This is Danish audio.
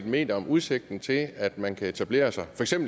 mener om udsigten til at man kan etablere sig